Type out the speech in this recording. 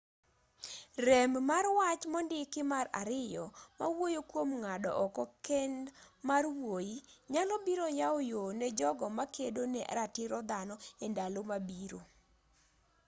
rem mar wach mondiki mar ariyo ma wuoyo kuom ng'ado oko kend mar wuoyi nyalo biro yawo yoo ne jogo makedo ne ratiro dhano e ndalo mabiro